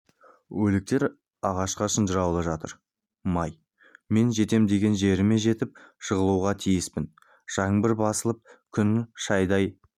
өліктер ағашқа шынжырлаулы жатыр май мен жетем деген жеріме жетіп жығылуға тиіспін жаңбыр басылып күн шайдай